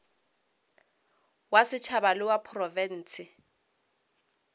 wa setšhaba le wa profense